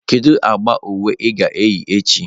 Kedu agba uwe ị ga-eyi echi?